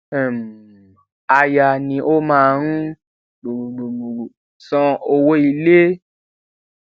um aya ni ó máa ń san owó ilé